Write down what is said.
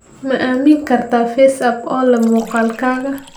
Ma aamini kartaa FaceApp oo leh muuqaalkaga?